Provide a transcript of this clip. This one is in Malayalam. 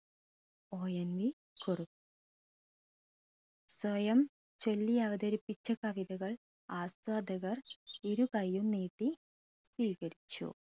ONV കുറുപ്പ് സ്വയം ചൊല്ലിയവതരിപ്പിച്ച കവിതകൾ ആസ്വാദകർ ഇരു കയ്യും നീട്ടി സ്വീകരിച്ചു